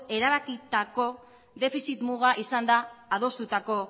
erabakitako defizit muga izan da adostutako